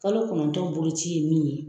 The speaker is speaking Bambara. Kalo kɔnɔntɔn boloci ye mun ye